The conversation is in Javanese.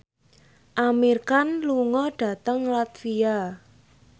Amir Khan lunga dhateng latvia